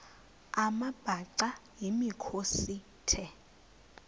amabhaca yimikhosi the